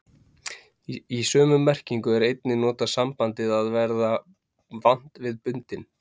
Í sömu merkingu er einnig notað sambandið að vera vant við bundinn.